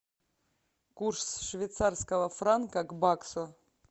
курс швейцарского франка к баксу